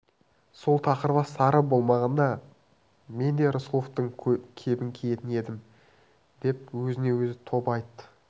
сол тақырбас сары болмағанда мен де рысқұловтың кебін киетін едім деп өзіне-өзі тоба айтты